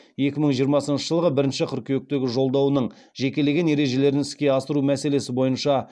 екі мңы жиырмасыншы жылғы бірінші қыркүйектегі жолдауының жекелеген ережелерін іске асыру мәселесі бойынша